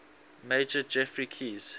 major geoffrey keyes